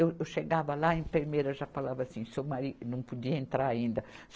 Eu, eu chegava lá, a enfermeira já falava assim, seu mari, não podia entrar ainda.